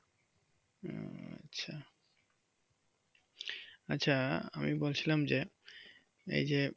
ও আচ্ছা আচ্ছা আমি বলছিলাম যে এই যে